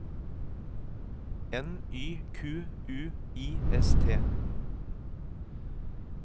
N Y Q U I S T